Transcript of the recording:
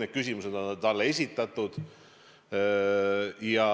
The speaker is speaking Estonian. Need küsimused on talle esitatud ja